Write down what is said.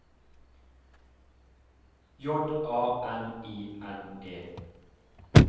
J A N I N E